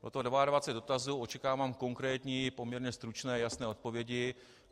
Je to 22 dotazů, očekávám konkrétní poměrně stručné jasné odpovědi.